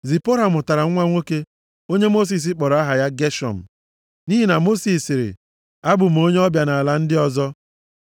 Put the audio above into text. Zipọra mụtara nwa nwoke, onye Mosis kpọrọ aha ya Geshọm. Nʼihi na Mosis sịrị, “Abụ m onye ọbịa nʼala ndị ọzọ.”